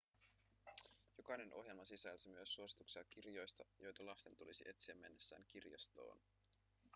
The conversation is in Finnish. jokainen ohjelma sisälsi myös suosituksia kirjoista joita lasten tulisi etsiä mennessään kirjastoon